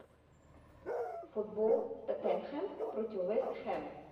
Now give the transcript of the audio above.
футбол тоттенхэм против вест хэм